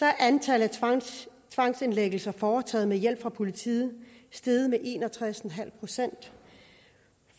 er antallet af tvangsindlæggelser foretaget med hjælp fra politiet steget med en og tres procent